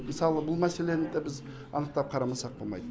мысалы бұл мәселені де біз анықтап қарамасақ болмайды